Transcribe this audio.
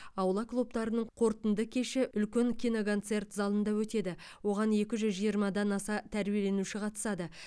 аула клубтарының қорытынды кеші үлкен киноконцерт залында өтеді оған екі жүз жиырмадан аса тәрбиеленуші қатысады